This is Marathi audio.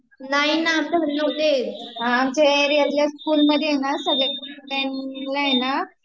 Unclear नाही ना आमच्या घरी नव्हते येत, आमच्या एरियातल्या स्कूल मध्ये ना Unclear